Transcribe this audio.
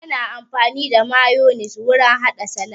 Ana amfani da mayonis wurin haɗa salat